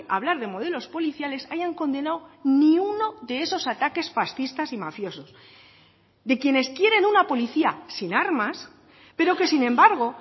a hablar de modelos policiales hayan condenado ni uno de esos ataques fascistas y mafiosos de quienes quieren una policía sin armas pero que sin embargo